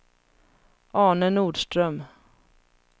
Arne Nordström